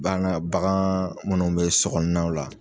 Bana bagan munnu bɛ sokɔnɔnaw la.